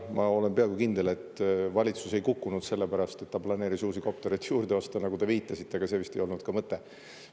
Ma olen peaaegu kindel, et valitsus ei kukkunud selle pärast, et ta planeeris uusi koptereid juurde osta, nagu te viitasite, aga see vist ei olnud ka mõte.